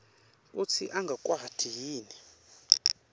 kutsi angakwati yini